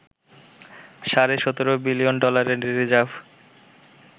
সাড়ে ১৭ বিলিয়ন ডলারের রিজার্ভ